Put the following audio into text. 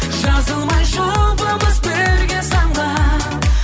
жазылмай жұбымыз бірге самғап